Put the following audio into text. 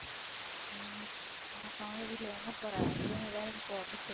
எங்கப்பாவும் வீட்டுல எங்க போற ஒழுங்கா வேலைக்குப் போ அப்படி சொ~